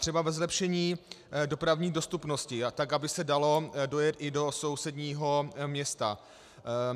Třeba ve zlepšení dopravní dostupnosti tak, aby se dalo dojet i do sousedního města.